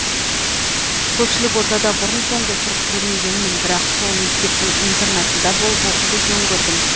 көпшілік ортада бұрын соңды тұрып көрмегенмін бірақ сол мектептің интернатында болып оқуды жөн көрдім